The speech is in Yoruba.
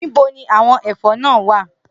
Nibo ni awọn ẹfọ naa wa?